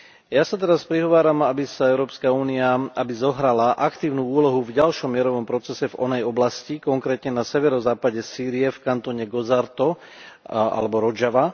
Ja sa teraz prihováram, aby Európska únia zohrala aktívnu úlohu v ďalšom mierovom procese v onej oblasti, konkrétne na severozápade Sýrie v kantóne Gozarto alebo Rodžava.